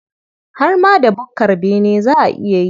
Har ma da bukkar bene za a iya yi.